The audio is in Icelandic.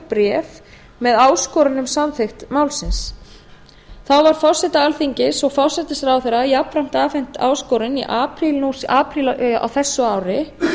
bréf með áskorun um samþykkt málsins þá var forseta alþingis og forsætisráðherra jafnframt afhent áskorun í apríl á þessu ári